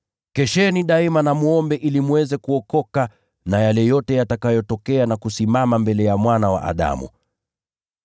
Kesheni daima na mwombe ili mweze kuokoka na yale yote yatakayotokea na kusimama mbele ya Mwana wa Adamu.”